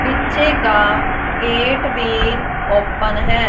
पीछे का गेट भी ओपन है।